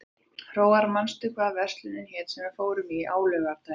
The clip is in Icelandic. Hróar, manstu hvað verslunin hét sem við fórum í á laugardaginn?